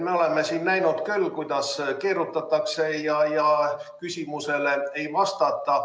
Me oleme siin näinud küll, kuidas keerutatakse ja küsimustele ei vastata.